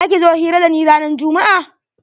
Za ki zo hira da ni ranan jummu'a?